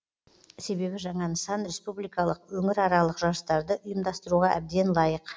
себебі жаңа нысан республикалық өңіраралық жарыстарды ұйымдастыруға әбден лайық